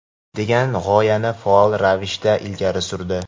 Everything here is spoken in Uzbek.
degan g‘oyani faol ravishda ilgari surdi.